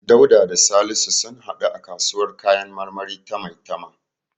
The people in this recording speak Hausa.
Dauda da Salisu sun haɗu a kasuwar kayan marmari ta Maitama.